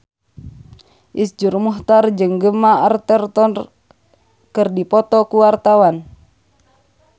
Iszur Muchtar jeung Gemma Arterton keur dipoto ku wartawan